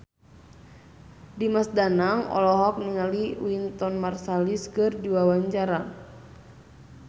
Dimas Danang olohok ningali Wynton Marsalis keur diwawancara